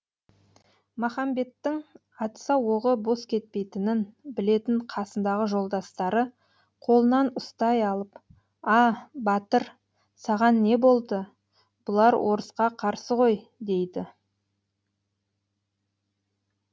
махамбеттің атса оғы бос кетпейтінін білетін қасындағы жолдастары қолынан ұстай алып а батыр саған не болды бұлар орысқа қарсы ғой дейді